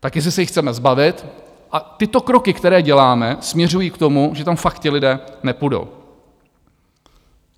Tak jestli se jich chceme zbavit, a tyto kroky, které děláme, směřují k tomu, že tam fakt ti lidé nepůjdou.